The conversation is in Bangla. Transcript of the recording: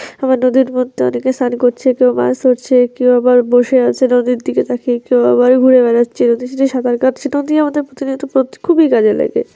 আমার নদীর মধ্যে অনেকে স্নান করছে কেউ বা কেউ আবার বসে আছে নদীর দিকে তাকিয়ে কেউ আবার ঘুরে বেড়াচ্ছে কেউ সাঁতার কাটছে নদি আমাদের প্রতিনিয়ত প খুবি কাজে লাগে।